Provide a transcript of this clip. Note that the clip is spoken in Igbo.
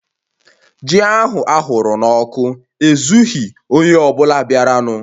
Ji ahụ aghụrụ n'ọkụ ezughi onye ọ bụla bịaranụ